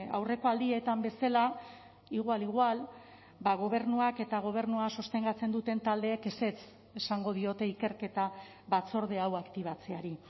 aurreko aldietan bezala igual igual gobernuak eta gobernua sostengatzen duten taldeek ezetz esango diote ikerketa batzorde hau aktibatzeari